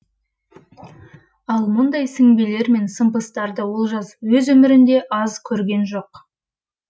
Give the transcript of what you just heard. ал мұндай сіңбелер мен сымпыстарды олжас өз өмірінде аз көрген жоқ